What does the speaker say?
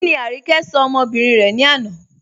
Kíni Áníkẹ̀ ṣọ̀ ọmọ́bìrín rẹ̀ ni àná?